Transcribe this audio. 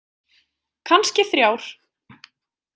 Kannski þrjár.